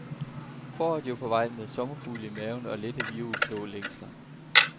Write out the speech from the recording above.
Foråret er jo på vej, med sommerfugle i maven og lette violblå længsler.